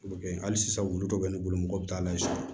hali sisan wulu dɔ bɛ ne bolo mɔgɔw bɛ taa layɛ sisan